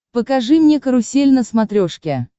покажи мне карусель на смотрешке